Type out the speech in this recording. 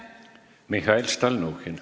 Mihhail Stalnuhhin.